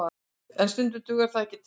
En stundum dugar það ekki til